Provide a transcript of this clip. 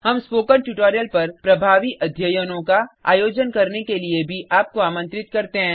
हम spoken tutorial पर प्रभावी अध्ययनों का आयोजन करने के लिए भी आपको आमंत्रित करते हैं